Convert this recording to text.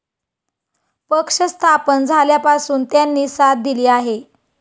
पक्ष स्थापन झाल्यापासून त्यांनी साथ दिली आहे.